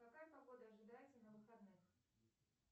какая погода ожидается на выходных